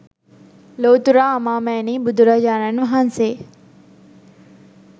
ලොව්තුරා අමාමෑණී බුදුරජාණන් වහන්සේ